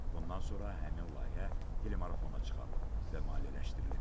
Bundan sonra həmin layihə telemarafona çıxarılıb və maliyyələşdirilib.